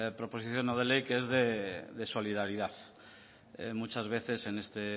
proposición no de ley que es de solidaridad muchas veces en este